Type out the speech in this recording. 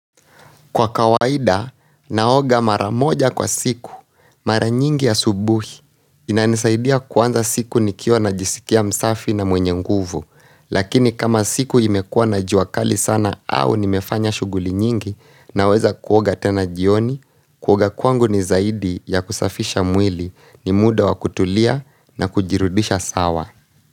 Kwa kawaida, naoga mara moja kwa siku. Mara nyingi ya subuhi. Inanisaidia kuanza siku nikiwa najisikia msafi na mwenye nguvu. Lakini kama siku imekuwa na jua kali sana au nimefanya shughuli nyingi naweza kuoga tena jioni, kuoga kwangu ni zaidi ya kusafisha mwili, ni muda wa kutulia na kujirudisha sawa.